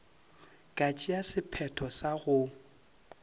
ka tšea sephetho sa go